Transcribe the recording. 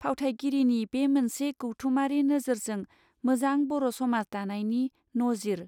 फावथायगिरिनि बे मोनसे गौथुमारि नोजोरजों मोजां बर समाज दानायनि नजिर.